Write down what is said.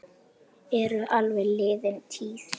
Heimir: Eru álver liðin tíð?